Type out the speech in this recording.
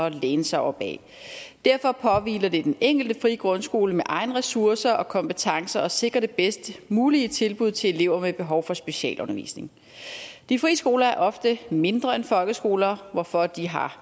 at læne sig op ad derfor påhviler det den enkelte frie grundskole med egne ressourcer og kompetencer at sikre det bedst mulige tilbud til elever med behov for specialundervisning de frie skoler er ofte mindre end folkeskoler hvorfor de har